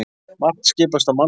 Margt skipast á mannsævi.